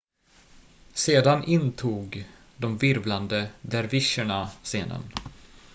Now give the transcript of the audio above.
sedan intog de virvlande dervischerna scenen